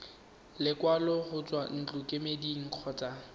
lekwalo go tswa ntlokemeding kgotsa